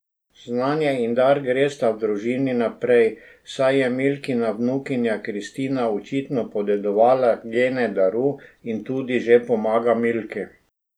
Znanje in dar gresta v družini naprej, saj je Milkina vnukinja Kristina očitno podedovala gene daru in tudi že pomaga Milki.